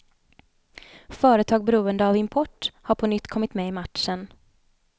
Företag beroende av import har på nytt kommit med i matchen.